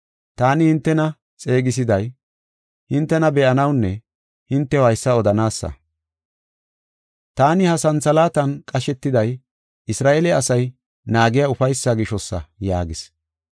Taani hintena xeegisiday hintena be7anawunne hintew haysa odanaasa. Taani ha santhalaatan qashetiday Isra7eele asay naagiya ufaysaa gishosa” yaagis.